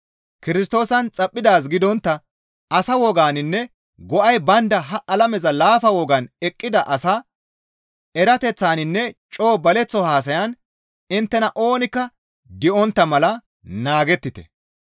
Kirstoosan xaphphidaaz gidontta asa woganinne go7ay baynda ha alameza laafa wogan eqqida asa erateththaninne coo baleththo haasayan inttena oonikka di7ontta mala naagettite.